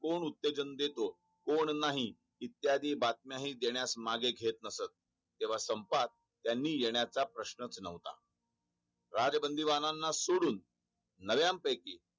तोड नाही इत्यादी बातम्या हि देण्यास मागे घेत नसत तेव्हा संपात त्यानी येणाच्या प्रश्न च नव्हता राजबंदीबानाना सोडून नव्यांपैकी